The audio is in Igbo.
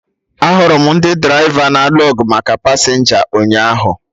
Ahụrụ m ndị draịva na-alụ ọgụ maka pasenja ụnyaahụ